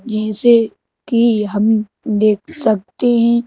जैसे कि हम देख सकते हैैं।